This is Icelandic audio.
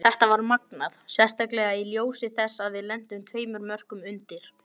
Þetta var magnað, sérstaklega í ljósi þess að við lentum tveimur mörkum undir.